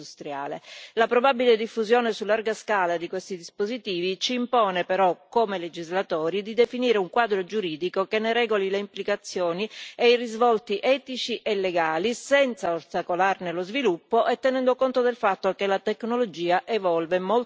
La probabile diffusione su larga scala di questi dispositivi ci impone però come legislatori di definire un quadro giuridico che ne regoli le implicazioni e i risvolti etici e legali senza ostacolarne lo sviluppo e tenendo conto del fatto che la tecnologia evolve molto velocemente.